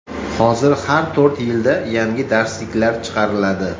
Hozir har to‘rt yilda yangi darsliklar chiqariladi.